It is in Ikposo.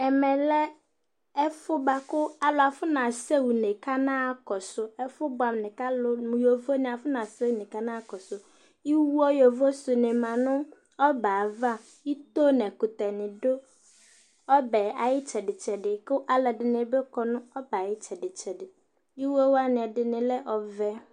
ɛmɛ lɛ ɛfʊbʊɛ dɩ bua kʊ ɛtʊfue alʊwanɩ afɔ naɣa kɔsʊ, iwo ɛtʊfue alʊwanɩ sʊ dɩ lɛ nʊ ɔbɛ yɛ ava, ito nʊ ɛkʊtɛnɩ dʊ ɔbɛ yɛ ayʊ itsɛdɩ itsɛdɩ, kʊ alʊɛdɩnɩ bɩ kɔ nʊ ɔbɛ yɛ ayʊ itsɛdɩ, iwowanɩ ɛdɩnɩ lɛ ɔvɛ